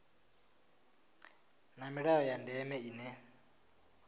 na milayo ya ndeme ine